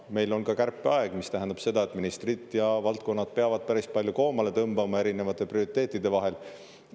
Ja meil on ka kärpeaeg, mis tähendab seda, et ministrid ja valdkonnad peavad päris palju koomale tõmbama erinevate prioriteetide vahel.